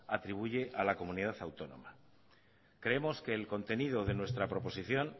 atribuye a la comunidad autónoma creemos que el contenido de nuestra proposición